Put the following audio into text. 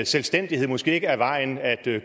selvstændighed måske ikke er vejen at